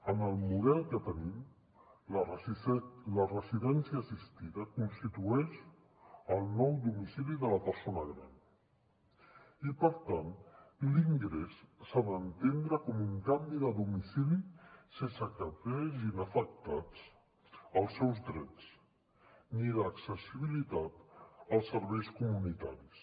en el model que tenim la residència assistida constitueix el nou domicili de la persona gran i per tant l’ingrés s’ha d’entendre com un canvi de domicili sense que es vegin afectats els seus drets ni l’accessibilitat als serveis comunitaris